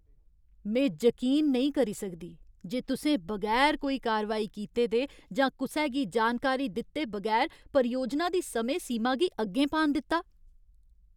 में जकीन नेईं करी सकदी जे तुसें बगैर कोई कारवाई कीते दे जां कुसै गी जानकारी दित्ते बगैर परियोजना दी समें सीमा गी अग्गें पान दित्ता।